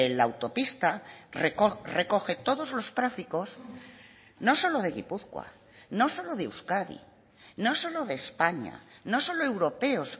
la autopista recoge todos los tráficos no solo de gipuzkoa no solo de euskadi no solo de españa no solo europeos